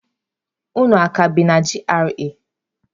Unu a ka bi na GRA?